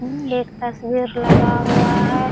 एक तस्वीर लगा हुआ है।